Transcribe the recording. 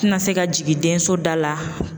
Tina se ka jigin den so da la